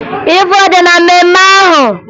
Ị fụrụ ọja na mmemme ahụ?